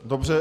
Dobře.